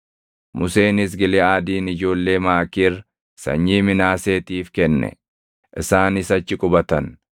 Museenis Giliʼaadin ijoollee Maakiir sanyii Minaaseetiif kenne; isaanis achi qubatan.